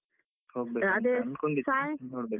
.